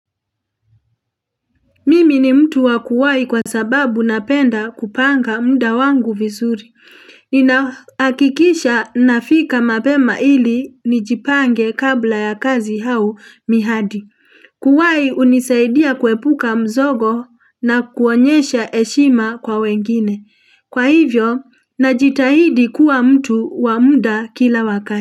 Mimi ni mtu wa kuwai kwa sababu napenda kupanga muda wangu vizuri Ninahakikisha nafika mapema ili nijipange kabla ya kazi au mihadi Kuwahi hunisaidia kuepuka mzogo na kuonyesha heshima kwa wengine Kwa hivyo, najitahidi kuwa mtu wa muda kila wakati.